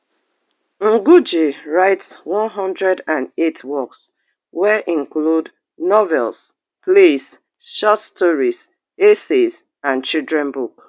ngugi write one hundred and eight works wey include novels plays short stories essays and children book